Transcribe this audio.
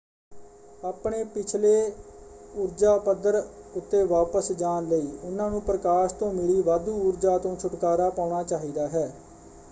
ਆਪਣੇ ਪਿਛਲੇ ਊਰਜਾ ਪੱਧਰ ਉੱਤੇ ਵਾਪਸ ਜਾਣ ਲਈ ਉਨ੍ਹਾਂ ਨੂੰ ਪ੍ਰਕਾਸ਼ ਤੋਂ ਮਿਲੀ ਵਾਧੂ ਊਰਜਾ ਤੋਂ ਛੁਟਕਾਰਾ ਪਾਉਣਾ ਚਾਹੀਦਾ ਹੈ।